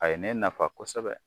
A ye ne nafa kosɛbɛ